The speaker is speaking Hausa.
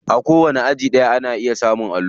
A kowanni aji ana iya samun allo.